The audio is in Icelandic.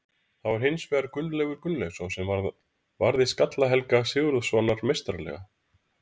Það var hins vegar Gunnleifur Gunnleifsson sem varði skalla Helga Sigurðssonar meistaralega.